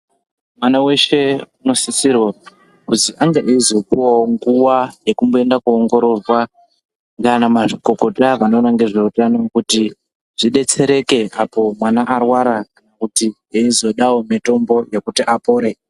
Mwana weshe unosisirwa kuzi ange eizopuwawo nguwa yekumboenda kundoongororwa ndiana mazvikokota vanoona ngezveutano . Kana vanoziya ngezveutano kuti zvidetsereke kuti eizodawo mutombo yekuti apore.